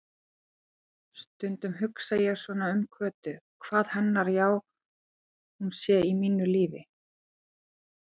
Stundum hugsa ég svona um Kötu, hvað hennar já-hún sé í mínu lífi.